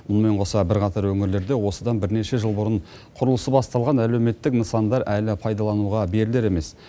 мұнымен қоса бірқатар өңірлерде осыдан бірнеше жыл бұрын құрылысы басталған әлеуметтік нысандар әлі пайдалануға берілер емес